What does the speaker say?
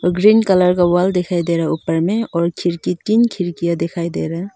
और green colour का wall दिखाई दे रहा है ऊपर में और खिड़की तीन खिड़कियां दिखाई दे रहा।